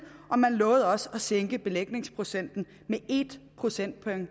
og man lovede også at sænke belægningsprocenten med en procentpoint